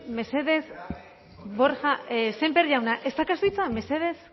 mesedez borja sémper ez daukazu hitza mesedez